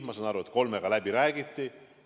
Ma saan aru, et kolme bürooga räägiti läbi.